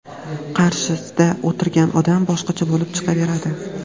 qarshisida o‘tirgan odam boshqacha bo‘lib chiqaveradi.